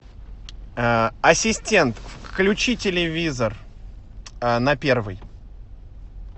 ассистент включи телевизор на первый